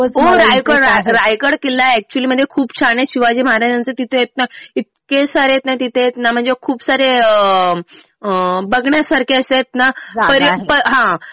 हो रायगड किल्ला एक्चुअली खूप छान आहे. शिवाजी महाराजांचं तिथं आहे ना इतके सारे आहेत ना. म्हणजे खूप सारे बघण्यासारखे असे आहेत ना